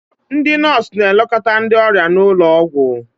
ndị nọọsụ na-elekọta ndị ọrịa n'ụlọ ọgwụ